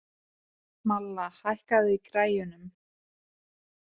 Malla, hækkaðu í græjunum.